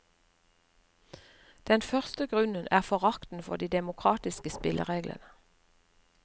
Den første grunnen er forakten for de demokratiske spillereglene.